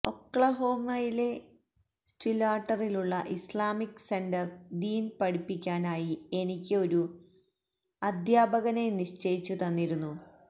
ഒക്ലഹോമയിലെ സ്റ്റില്വാട്ടറിലുള്ള Islamic centre ദീന് പഠിപ്പിക്കാനായി എനിക്ക് ഒരു അധ്യാപകനെ നിശ്ചയിച്ചുതന്നിരുന്നു